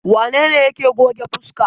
Wane ne yake goge fuska?